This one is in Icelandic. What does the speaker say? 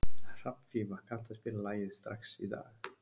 Hrafnfífa, kanntu að spila lagið „Strax í dag“?